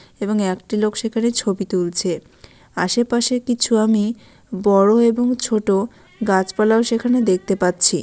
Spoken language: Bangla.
এবং একটি লোক সেখানে ছবি তুলছে। আশেপাশে কিছু আমি বড়ো এবং ছোট গাছপালা ও সেখানে দেখতে পাচ্ছি।